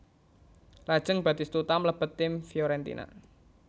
Lajeng Batistuta mlebet tim Fiorentina